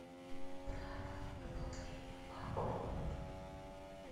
правила выполнения вакуума